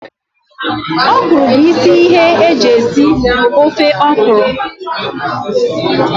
Okro bu isi ihe eji esi ofe okro